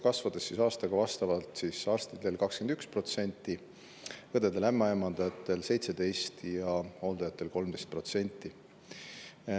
Kasv aastaga arstidel 21%, õdedel-ämmaemandatel 17% ja hooldajatel 13%.